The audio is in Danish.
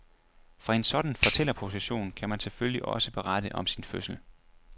Fra en sådan fortællerposition kan man selvfølgelig også berette om sin fødsel.